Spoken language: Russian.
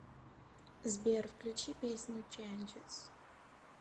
сбер включи песню ченджес